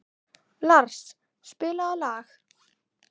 Lars, spilaðu lag.